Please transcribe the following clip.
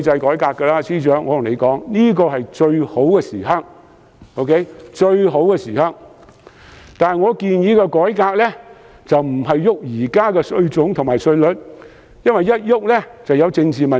我想告訴司長，現在是最好的改革時機，但我建議的改革並非改變現行稅種和稅率，因為會引起政治問題。